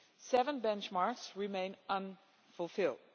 Seven benchmarks remain unfulfilled.